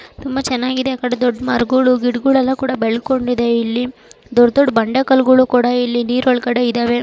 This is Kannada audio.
ತುಂಬಾ ಚೆನ್ನಾಗಿದೆ ಆ ಕಡೆ ದೊಡ್ಡ ಮರಗಳು ಗಿಡಗಳು ಎಲ್ಲಾ ಕುಡ ಬೆಳೆದುಕೊಂಡಿದೆ ಇಲ್ಲಿ ದೊಡ್ಡ ದೊಡ್ಡ ಬಂಡೆಕಲ್ಲುಗಳು ಕೂಡ ಇಲ್ಲಿ ನೀರ್ ಒಳಗೆ ಇದ್ದಾವೆ.